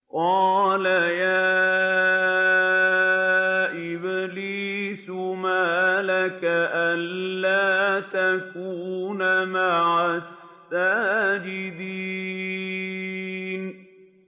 قَالَ يَا إِبْلِيسُ مَا لَكَ أَلَّا تَكُونَ مَعَ السَّاجِدِينَ